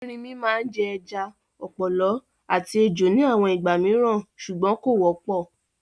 Erinmi máa jẹ ẹja, ọ̀pọ̀lọ́ àti ejò ní àwọn ìgbà mìíràn ṣùgbọ́n kò wọ́pọ̀.